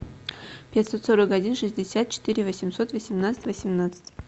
пятьсот сорок один шестьдесят четыре восемьсот восемнадцать восемнадцать